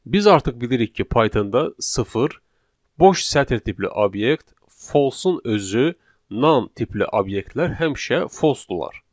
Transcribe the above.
Biz artıq bilirik ki, Pythonda sıfır, boş sətr tipli obyekt, false-un özü, non tipli obyektlər həmişə false-dular.